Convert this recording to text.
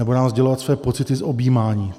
Nebo nám sdělovat své pocity z objímání.